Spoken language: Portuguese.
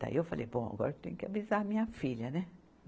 Daí eu falei, bom, agora tenho que avisar a minha filha, né?